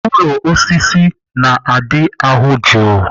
Ụlọ osisi na-ada ahụ jụụ.